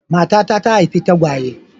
Matata ta haifi tagwaye.